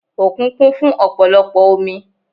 Òkun kún fún ọ̀pọ̀lọpọ̀ omi